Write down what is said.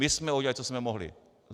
My jsme udělali, co jsme mohli...